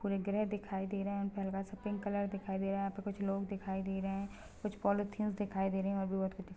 कोई ग्रह दिखाई दे रहे है परवा पिंक कलर दिखाई दे रहा है यह पे कुछ लोग दिखाई दे रहे है कुछ पॉलिथीन दिखाई दे रही है और भी बहोत कुछ--